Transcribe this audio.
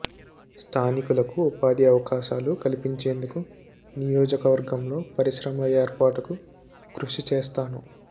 స్థానికులకు ఉపాధి అవకాశాలు కల్పించేందుకు నియోజకవర్గంలో పరిశ్రమల ఏర్పాటుకు కృషి చేస్తాను